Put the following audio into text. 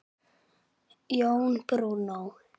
Jón Bruno.